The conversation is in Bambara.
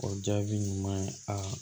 O jaabi ɲuman ye aa